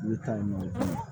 Ne bɛ taa yen nɔ